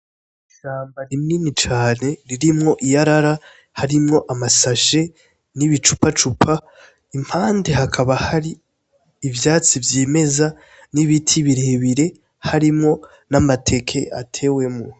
Ishamba rinini cane ririmwo iyarara, harimwo amasahe, n'ibicupacupa impande hakaba hari ivyatsi vyimeza, n'ibiti birebire harimwo n'amateke atewemwo.